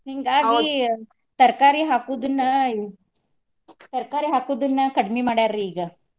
ತರ್ಕಾರಿ ಹಾಕುದನ್ನ ಈ ತರ್ಕಾರಿ ಹಾಕುದನ್ನ ಕಡಿಮಿ ಮಾಡ್ಯಾರಿ ಈಗ.